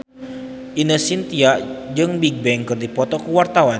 Ine Shintya jeung Bigbang keur dipoto ku wartawan